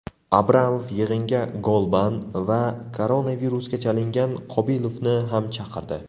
Abramov yig‘inga Golban va koronavirusga chalingan Qobilovni ham chaqirdi.